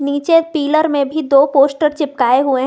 नीचे पिलर में भी दो पोस्टर चिपकाए हुए हैं।